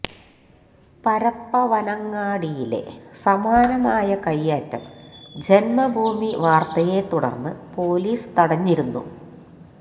പരപ്പവനങ്ങാടിയിലെ സമാനമായ കയ്യേറ്റം ജന്മഭൂമി വാര്ത്തയെ തുടര്ന്ന് പോലീസ് തടഞ്ഞിരുന്നു